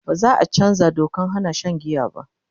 baza'a chanzaa Dokan Hana Shan giya ba